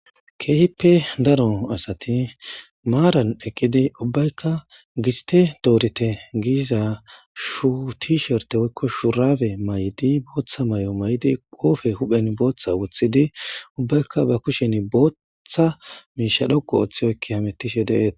Keehippe daro asati maaran eqqidi ubbaykka giste doorite giiza shuuti sherte woykko shuurabe may'di booththa may'o maydi qoofe huphen booththa wuthidi ubbaykka ba kushen boottha miisha dhoqu oththiyoykki hamettishe deeet.